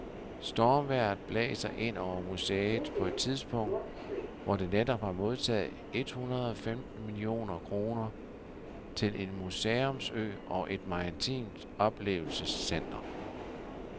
Stormvejret blæser ind over museet på et tidspunkt, hvor det netop har modtaget et hundrede femten millioner kroner til en museumsø og et maritimt oplevelsescenter.